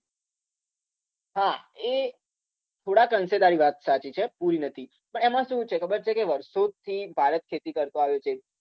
હા એ થોડાક અંશે તારી વાત સાચી છે, પૂરી નથી પણ એમાં શું છે ખબર છે કે વર્ષોથી ભારત ખેતી કરતો આવ્યો છે